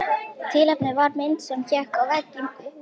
Tilefnið var mynd sem hékk á vegg í húsi.